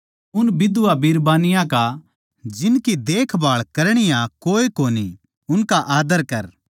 उन बिधवायां का जिनकी देखभाळ करणीया कोए कोनी उनका आदर कर